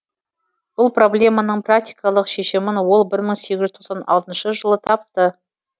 бұл проблеманың практикалық шешімін ол бір мың сегіз жүз тоқсан алтыншы жылы тапты